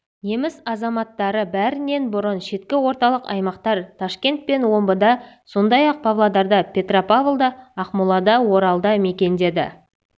неміс азаматтары бәрінен бұрын шеткі орталық аймақтар ташкент пен омбыда сондай-ақ павлодарда петропавлда ақмолада оралда мекендеді